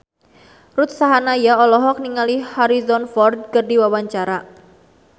Ruth Sahanaya olohok ningali Harrison Ford keur diwawancara